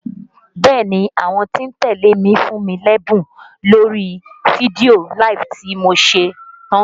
Bẹ́ẹ̀ni, àwọn tí ń tẹ́lẹ̀ mi fún mí lẹ́bùn lórí fídíò LIVE tí mo ṣe tán